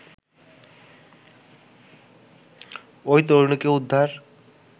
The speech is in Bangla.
ওই তরুণীকে উদ্ধার